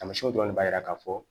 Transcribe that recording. Taamasiyɛnw dɔrɔn de b'a jira k'a fɔ